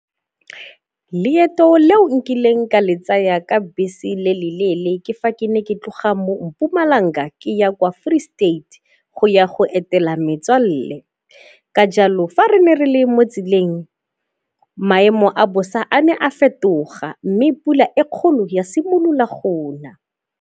Leeto leo nkileng ka le tsaya ka bese le le leele ke fa ke ne ke tloga mo Mpumalanga ke ya kwa Free State go ya go etela metswalle. Ka jalo fa re ne re le motseleng maemo a bosa a ne a fetoga mme pula e kgolo ya simolola go na.